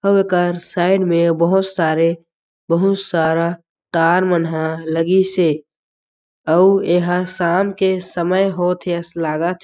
हो ओकर साइड में बहुत सारे बहुत सारा कार मनह लगिस हे अउ एह शाम के समय होथ ए श लागत --